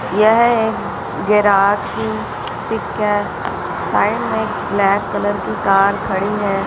यह एक गैराज की पिक है साइड में ब्लैक कलर की कार खड़ी है।